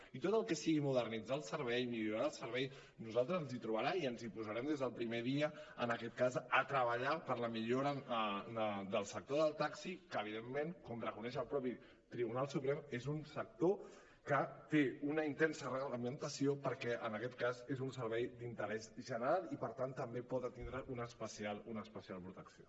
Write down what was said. i en tot el que sigui modernitzar el servei millorar el servei a nosaltres ens hi trobarà i ens hi posarem des del primer dia en aquest cas a treballar per la millora del sector del taxi que evidentment com reconeix el mateix tribunal suprem és un sector que té una intensa reglamentació perquè en aquest cas és un servei d’interès general i per tant també pot tindre una especial protecció